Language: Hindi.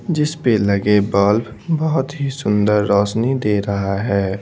जिस पे लगे बल्ब बहुत ही सुंदर रोशनी दे रहा है।